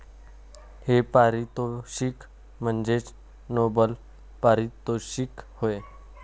हे पारितोषिक म्हणजेच नोबल पारितोषिक होय.